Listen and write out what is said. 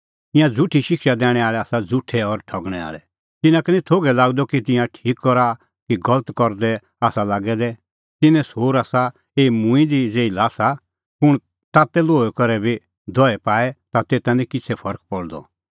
ईंयां झ़ुठी शिक्षा दैणैं आल़ै आसा झ़ुठै और ठगणै आल़ै तिन्नां का निं थोघै लागदअ कि तिंयां ठीक करा कि गलत करदै आसा लागै दै तिन्नें सोर आसा एही मूंईं दी ज़ेही ल्हासा कुंण तातै लोहै करै बी दहई पाए ता तेता निं किछ़ै फरक पल़दअ